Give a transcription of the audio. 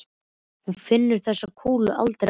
Hún finnur þessa kúlu aldrei aftur.